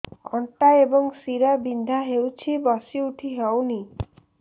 ଅଣ୍ଟା ଏବଂ ଶୀରା ବିନ୍ଧା ହେଉଛି ବସି ଉଠି ହଉନି